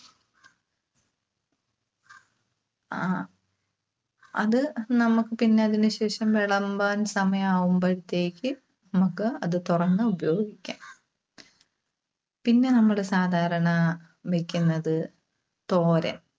അ അത് നമക്ക് പിന്നെ അതിനുശേഷം വിളമ്പാൻ സമയാവുമ്പഴത്തേക്ക് നമുക്ക് അത് തുറന്ന് ഉപയോഗിക്കാം. പിന്നെ നമ്മള് സാധാരണ വെക്കുന്നത് തോരൻ.